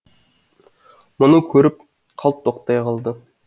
мұны көріп қалт тоқтай қалды